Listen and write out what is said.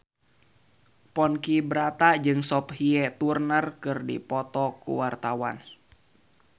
Ponky Brata jeung Sophie Turner keur dipoto ku wartawan